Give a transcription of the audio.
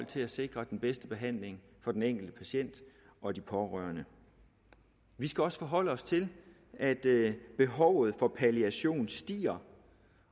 til at sikre den bedste behandling for den enkelte patient og de pårørende vi skal også forholde os til at behovet for palliation stiger